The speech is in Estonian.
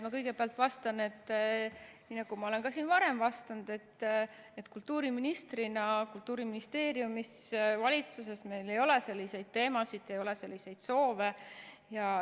Ma kõigepealt vastan, nii nagu ma olen ka varem vastanud, et kultuuriministrina, Kultuuriministeeriumis, valitsuses meil ei ole selliseid teemasid, ei ole selliseid soove.